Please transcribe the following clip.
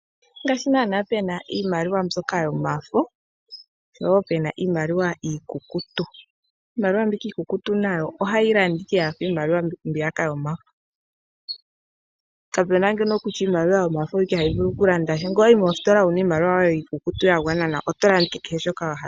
Ngaashi nana pena iimaliwa mbyoka yomafo showo puna iimaliwa iikukutu ,iimaliwa mbika iikukutu nayo ohayi landa ike yafa iimaliwa mbiyaka yomafo kapena ngeno kutya iimaliwa yomafo oyo ike hayi vulu okulanda sha ngo wayi mositola wuna iimaliwa yoye iikukutu yagwana nawa otolanda ike keshe shoka wahala.